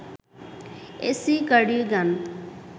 AC cardigan